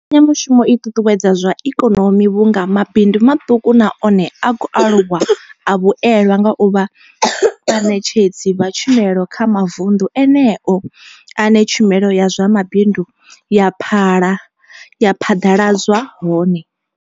Mbekanya mushumo i ṱuṱuwedza zwa ikonomi vhunga mabindu maṱuku na one a khou aluwa a vhuelwa nga u vha vhaṋetshedzi vha tshumelo kha mavundu eneyo ane tshumelo ya zwa mabindu ya phala ya phaḓaladzwa hone.